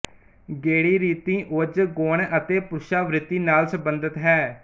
ਗੇੜੀ ਰੀਤੀ ੳਜ ਗੁਣ ਅਤੇ ਪੁਰਸ਼ਾ ਵ੍ਰਿੱਤੀ ਨਾਲ ਸਬੰਧਿਤ ਹੈ